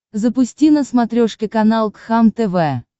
запусти на смотрешке канал кхлм тв